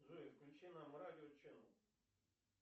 джой включи нам радио ченел